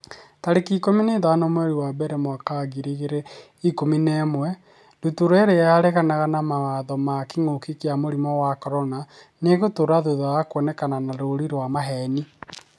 tarĩki ikũmi na ithano mweri wa mbere mwaka wa ngiri igĩrĩ na ikũmi na ĩmwe Ndutura irĩa 'ĩraregana na mawatho ma kĩngũki kia mũrimũ wa CORONA nĩ ĩgũtũra thutha wa kuonekana na rũũri rwa maheeni.